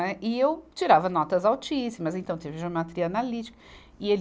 Né. E eu tirava notas altíssimas, então teve geometria analítica. E ele